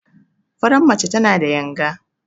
Faran mace tana da yanga.